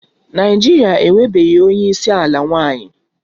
Naịjirịa enwebeghị onye isi ala nwanyị